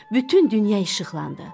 Bütün dünya işıqlandı.